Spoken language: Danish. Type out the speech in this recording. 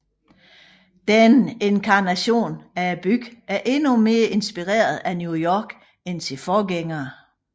Denne inkarnation af byen er endnu mere inspireret af New York end sine forgængere